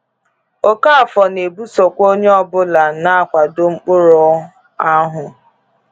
Okafọ na-ebusokwa onye ọ bụla na-akwado "mkpụrụ"áhụ̀.